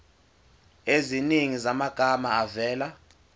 eziningi zamagama avela